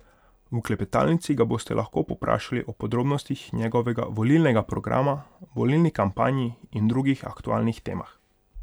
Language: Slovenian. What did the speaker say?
V klepetalnici ga boste lahko povprašali o podrobnostih njegovega volilnega programa, volilni kampanji in drugih aktualnih temah.